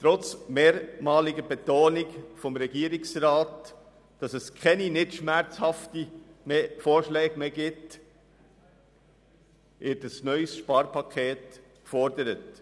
Trotz mehrmaliger Betonung des Regierungsrats, dass es keine schmerzhaften Vorschläge mehr gebe, wird ein neues Sparpaket gefordert.